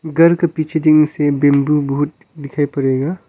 घर के पीछे बंबू बहुत दिखाई पड़ेगा।